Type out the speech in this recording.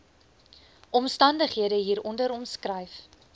omstandighede hieronder omskryf